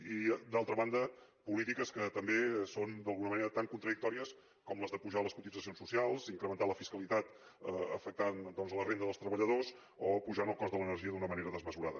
i d’altra banda polítiques que també són d’alguna manera tan contradictòries com les d’apujar les cotitzacions socials incrementar la fiscalitat afectant la renda dels treballadors o apujant el cost de l’energia d’una manera desmesurada